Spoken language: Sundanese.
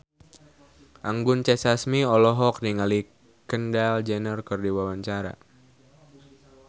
Anggun C. Sasmi olohok ningali Kendall Jenner keur diwawancara